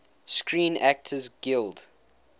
screen actors guild